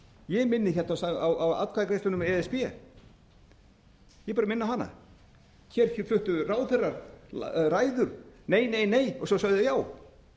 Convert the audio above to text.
ég minni hérna á atkvæðagreiðsluna um e s b ég bara minni á hana hér fluttu ráðherrar ræður nei nei nei og svo sögðu þeir já